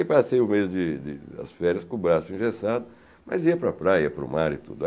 Eu passei o mês de de das férias com o braço engessado, mas ia para a praia, para o mar e tudo.